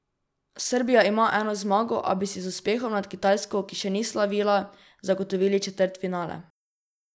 Srbija ima eno zmago, a bi si z uspehom nad Kitajsko, ki še ni slavila, zagotovili četrtfinale.